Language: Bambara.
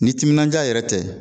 Ni timinandiya yɛrɛ tɛ